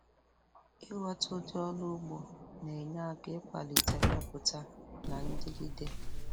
Ịghọta ụdị ọrụ ugbo na-enye aka ịkwalite mmepụta na ndigide.